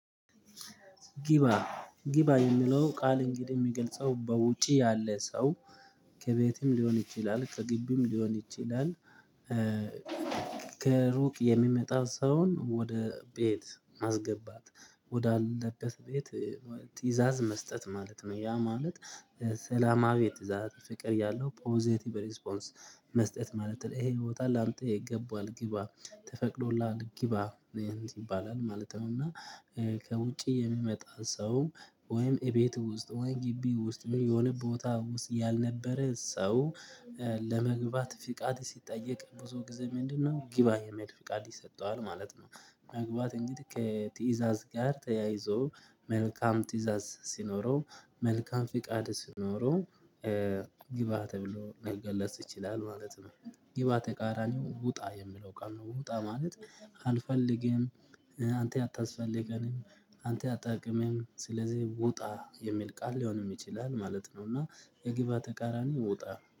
ጊባ ጊባ የሚለው ቃል እንግዲህ የሚገልጸው በውጪ ያለ ሰው ከቤትም ሊሆን ይችላል ከግቢም ሊሆን ይችላል። ከሩቅ የሚመጣ ሰውን ወደ ቤት ማስገባት ወዳለበት ቤት ትእዛዝ መስጠት ማለት ነው። ያ ማለት ሰላማዊ ትዝታት ፍቅር ያለው ፖዘቲቭ ሪስፖንስ መስጠት ማለት ነው። ይሄ ይወጣል አምጥቼ ይገባል ግባ ተፈቅዶላል ግባ ይባላል ማለት ነው። እና ከውጪ የሚመጣን ሰው ወይም እቤት ውስጥ ወይ ግቢ ውስጥ የሆነ ቦታ ውስጥ ያልነበረ ሰው ለመግባት ፍቃድ ሲጠየቅ ብዙ ጊዜ ምንድነው ጊባ የመሄድ ፍቃድ ይሰጠዋል ማለት ነው። መግባት እንግዲህ ከትእዛዝ ጋር ተያይዞ መልካም ትእዛዝ ሲኖረው መልካም ፍቃድ ስኖረው ግባ ተብሎ መልገላት ትችላለህ ማለት ነው። ግባ ተቃራኒው ውጣ የምለው ቃል ነው። ውጣ ማለት አልፈልግም አንተ አታስፈልገንም አንተ አታጠቅምም ስለዚህ ውጣ የሚል ቃል ሊሆን ይችላል ማለት ነው። እና የግብ ተቃራኒ ውጣ